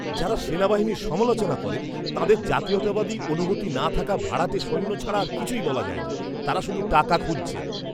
যাঁরা সেনাবাহিনীর সমালোচনা করেন, তাঁদের জাতীয়তাবাদী অনুভূতি না থাকা ভাড়াটে সৈন্য ছাড়া আর কিছুই বলা যায় না। তাঁরা শুধু টাকা খুঁজছেন।